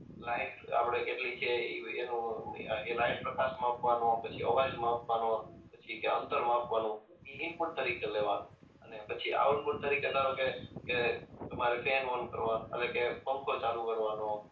light આપણે કેટલી છે ઈ એનું એ લાઈટ પ્રકાશ માપવાનો પછી અવાજ માપવાનો પછી કે અંતર માપવાનો ઈ ઈનપુટ તરીકે લેવાનું અને પછી આઉટપુટ તરીકે ધારોકે કે તમારે ફેન ઓન કરવાનો આવે એટલે કે પંખો ચાલુ કરવાનો